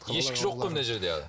ешкі жоқ қой мына жерде аға